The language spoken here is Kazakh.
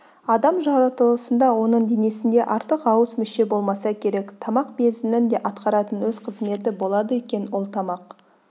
адам жаратылысында оның денесінде артық-ауыс мүше болмаса керек тамақ безінің де атқаратын өз қызметі болады екен ол тамақ